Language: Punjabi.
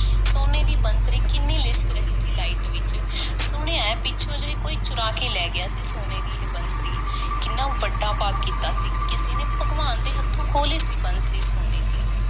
ਸੋਨੇ ਦੀ ਬੰਸਰੀ ਕਿੰਨੀ ਲਿਸ਼ਕ ਰਹੀ ਸੀ, light ਵਿੱਚ। ਸੁਣਿਆ ਏ ਪਿੱਛੋਂ ਜਿਹੇ ਕੋਈ ਚੁਰਾ ਕੇ ਲੈ ਗਿਆ ਸੀ, ਸੋਨੇ ਦੀ ਇਹ ਬੰਸਰੀ। ਕਿੰਨਾ ਵੱਡਾ ਪਾਪ ਕੀਤਾ ਸੀ, ਕਿਸੇ ਨੇ, ਭਗਵਾਨ ਦੇ ਹੱਥੋਂ ਖੋਹ ਲਈ ਸੀ ਬੰਸਰੀ, ਸੋਨੇ ਦੀ।